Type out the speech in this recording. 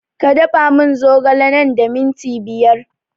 Ka da fa mun zogale nan da minti biyar